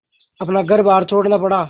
अपना घरबार छोड़ना पड़ा